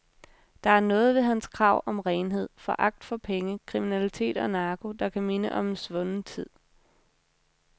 Der er noget ved hans krav om renhed, foragt for penge, kriminalitet og narko, der kan minde om en svunden tid.